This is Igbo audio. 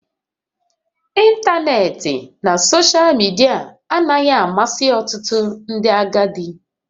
Ịntanetị na soshal midia anaghị amasị ọtụtụ ndị agadi